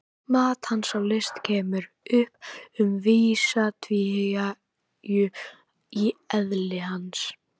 Mat hans á list kemur upp um vissa tvíhyggju í eðli hans.